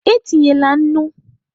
E tinyela nnu!